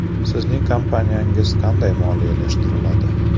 Sizning kompaniyangiz qanday moliyalashtiriladi?